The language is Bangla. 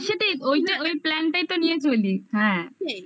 হ্যা হ্যা হ্যা সেটাই ওইটা ওই plan তো নিয়ে চলি হ্যা